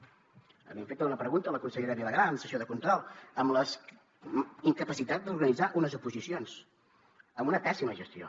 li hem fet una pregunta a la consellera vilagrà en sessió de control amb la incapacitat d’organitzar unes oposicions amb una pèssima gestió